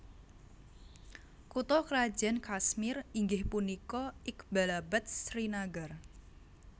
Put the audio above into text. Kutha krajan Kashmir inggih punika Iqbalabad Srinagar